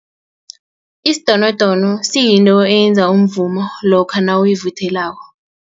Isidonodono siyinto eyenza umvumo lokha nawuyivuthelako.